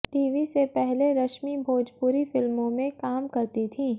TV से पहले रश्मि भोजपूरी फिल्मों में काम करती थीं